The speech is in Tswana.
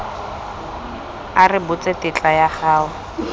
a rebotse tetla ya go